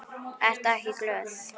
Ertu ekki glöð?